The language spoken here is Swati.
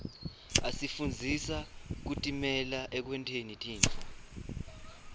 asifundzisa kutimela ekwenteni tintfo